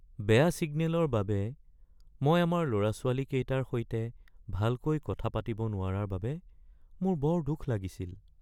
বেয়া ছিগনেলৰ বাবে মই আমাৰ ল’ৰা-ছোৱালীকেইটাৰ সৈতে ভালকৈ কথা পাতিব নোৱাৰাৰ বাবে মোৰ বৰ দুখ লাগিছিল।